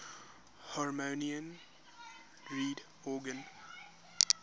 harmonium reed organ